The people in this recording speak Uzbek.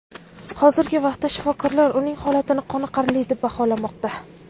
Hozirgi vaqtda shifokorlar uning holatini qoniqarli deb baholamoqda.